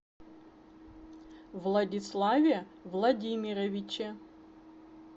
владиславе владимировиче